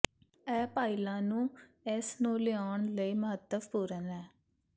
ਇਹ ਭਾਈਿਾਲਾ ਨੂੰ ਇਸ ਨੂੰ ਲਿਆਉਣ ਲਈ ਮਹੱਤਵਪੂਰਨ ਹੈ